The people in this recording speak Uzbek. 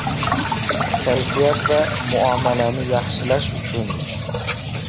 Kayfiyat va muomalani yaxshilash uchun.